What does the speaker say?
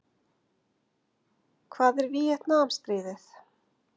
Hvað er Víetnamstríðið?